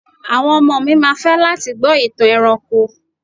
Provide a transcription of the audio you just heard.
Àwọn ọmọ mi ma fẹ́ láti gbọ́ ìtàn ẹranko.